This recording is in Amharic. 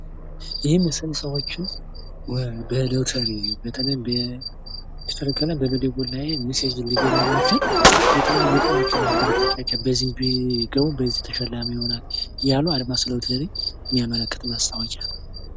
ይህ ምስል ሰዎችን በሎተሪ በተለይም ስልክ በመደወል ላይ ሚሴጅ ሊገባ የሚችል የተለያዩ እጣዎችን ማበረታቻ በዚህ ቢገቡ ተሸላሚ ይሆናሉ እያሉ አድማስ ሎተሪ የሚያመለክት ማስታወቂያ ነው።።